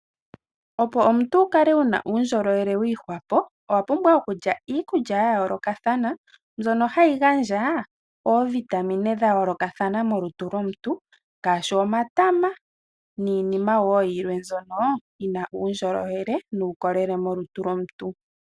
Opo omuntu wukale uwuna uundjolowele wiihwapo, owapumbwa okulya iikulya ya yoolokathana, mbyono hayi gandja oovitamine dhayoolokathana molutu lomuntu, ngaashi omatama, niinima woo yilwe mbyono yina uundjolowele nuukolele molutu lwomuntu.